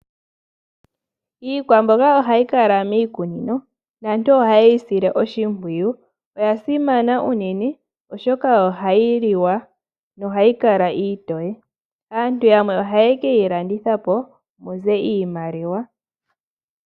Iikwamboga ohayi kala miikunino naantu ohayeyi sile oshimpwiyu. Oya simana unene oshoka ohayi liwa nohayi kala iitoye, aantu yamwe ohaye keyi landitha po muze iimaliwa.